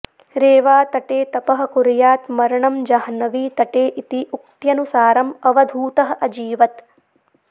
रेवा तटे तपः कुर्यात् मरणं जाह्नवी तटे इति उक्त्यनुसारम् अवधूतः अजीवत्